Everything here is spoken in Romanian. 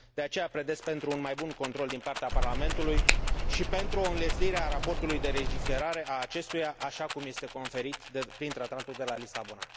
De aceea, pledez pentru un mai bun control din partea Parlamentului și pentru o înlesnire a raportului de legiferare a acestuia, așa cum este conferit prin Tratatul de la Lisabona.